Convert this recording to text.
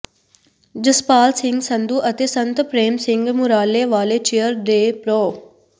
ਜਸਪਾਲ ਸਿੰਘ ਸੰਧੂ ਅਤੇ ਸੰਤ ਪ੍ਰੇਮ ਸਿੰਘ ਮੁਰਾਲੇ ਵਾਲੇ ਚੇਅਰ ਦੇ ਪ੍ਰੋ